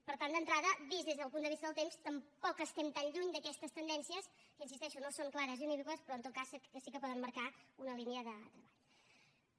per tant d’entrada vist des del punt de vista del temps tampoc estem tan lluny d’aquestes tendències que hi insisteixo no són clares ni unívoques però en tot cas sí que poden marcar una línia de treball